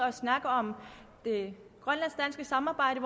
at snakke om det grønlandsk danske samarbejde